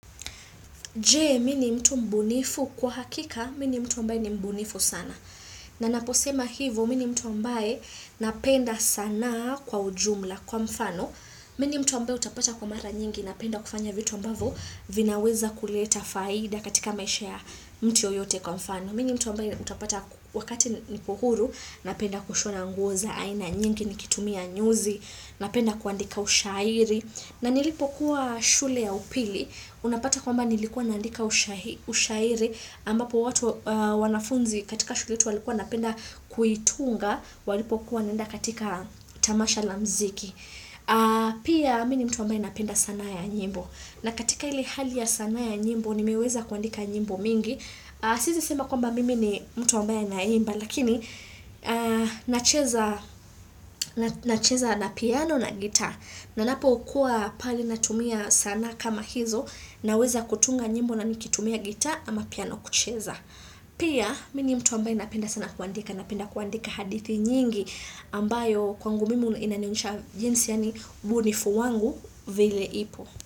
Je, mi ni mtu mbunifu. Kwa hakika, mi ni mtu ambae ni mbunifu sana. Na naposema hivo, mini mtu ambae napenda sanaa kwa ujumla kwa mfano. Mi ni mtu ambae utapata kwa mara nyingi, napenda kufanya vitu ambavo, vinaweza kuleta faida katika maisha ya mtu yoyote kwa mfano. Mi ni mtu ambae utapata wakati niko huru, napenda kushona nguo za aina nyingi nikitumia nyuzi, napenda kuandika ushairi. Na nilipokuwa shule ya upili, unapata kwamba nilikuwa naandika ushairi, ambapo watu wanafunzi katika shuletu walikuwa wanapenda kuitunga, walipokuwa wanaenda katika tamasha la mziki. Pia, mi ni mtu ambae napenda sanaa ya nyimbo. Na katika ili hali ya sana ya nyimbo, nimeweza kuandika nyimbo mingi. Siezi sema kwamba mimi ni mtu ambaye anaimba lakini nacheza na piano na guitar na napokuwa pali natumia sanaa kama hizo naweza kutunga nyimbo na nikitumia guitar ama piano kucheza pia mimi mtu ambaye napenda sana kuandika napenda kuandika hadithi nyingi ambayo kwangu mimi inanionyesha jinsi yani ubunifu wangu vile ipo.